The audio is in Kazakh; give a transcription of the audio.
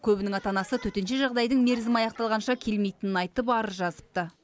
көбінің ата анасы төтенше жағдайдың мерзімі аяқталғанша келмейтінін айтып арыз жазыпты